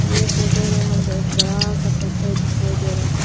यह फोटो में हमको एक बड़ा सा पत्थर दिखाई दे रहा है।